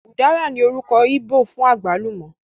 Ùdára ní orúkọ íbò fún àgbálùmọ́